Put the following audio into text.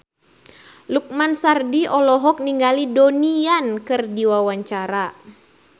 Lukman Sardi olohok ningali Donnie Yan keur diwawancara